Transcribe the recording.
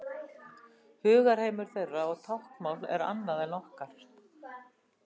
Hugarheimur þeirra og táknmál er annað en okkar.